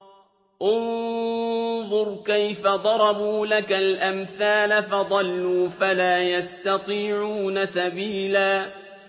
انظُرْ كَيْفَ ضَرَبُوا لَكَ الْأَمْثَالَ فَضَلُّوا فَلَا يَسْتَطِيعُونَ سَبِيلًا